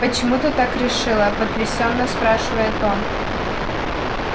почему ты так решила потрясённо спрашивает он